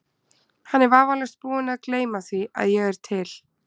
Hann er vafalaust búinn að gleyma því, að ég er til.